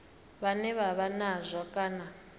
vhane vha vha nazwo kana